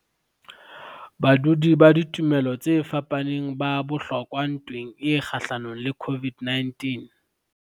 Badudi ba ditumelo tse fapaneng ba bohlokwa ntweng e kgahlanong le COVID-19